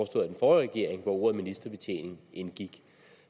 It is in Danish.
regering hvor ordet ministerbetjening indgik